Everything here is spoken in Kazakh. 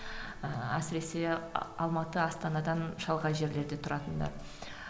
ыыы әсіресе алматы астанадан шалғай жерлерде тұратындар